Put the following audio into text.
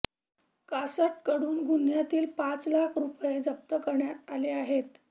कासटकडून गुन्ह्यातील पाच लाख रुपये जप्त करण्यात आले आहेत